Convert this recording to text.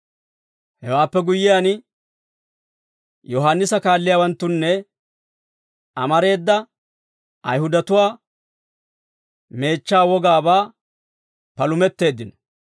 Hewaappe guyyiyaan, Yohaannisa kaalliyaawanttunna amareeda Ayihudatuwaa meechchaa wogaabaa palumetteeddino.